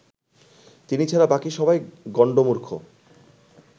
তিনি ছাড়া বাকি সবাই গণ্ডমূর্খ